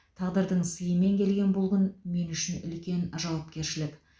тағдырдың сыйымен келген бұл күн мен үшін үлкен жауапкершілік